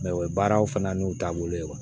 o ye baaraw fana n'u taabolo ye